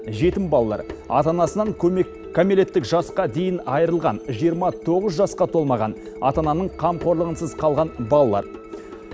жетім балалар ата анасынан кәмелеттік жасқа дейін айырылған жиырма тоғыз жасқа толмаған ата ананың қамқорлығынсыз қалған балалар